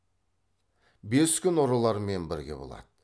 бес күн ұрылармен бірге болады